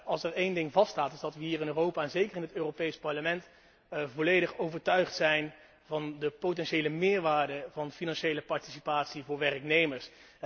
Als er één ding vaststaat, is dat we hier in Europa en zeker in het Europees Parlement volledig overtuigd zijn van de potentiële meerwaarde van financiële participatie voor werknemers.